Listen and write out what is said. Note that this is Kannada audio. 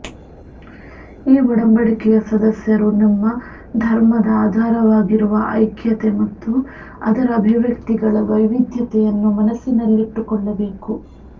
ಈ ಒಡಂಬಡಿಕೆಯ ಸದಸ್ಯರು ನಮ್ಮ ಧರ್ಮದ ಆಧಾರವಾಗಿರುವ ಐಕ್ಯತೆ ಮತ್ತು ಅದರ ಅಭಿವ್ಯಕ್ತಿಗಳ ವೈವಿಧ್ಯತೆಯನ್ನು ಮನಸ್ಸಿನಲ್ಲಿಟ್ಟುಕೊಳ್ಳಬೇಕು